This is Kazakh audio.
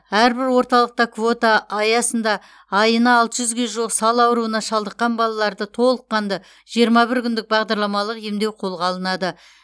әрбір орталықта квота аясында айына алты жүзге жуық сал аурына шалдыққан балаларды толыққанды жиырма бір күндік бағдарламалық емдеу қолға алынады